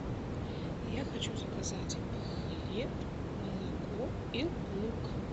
я хочу заказать хлеб молоко и лук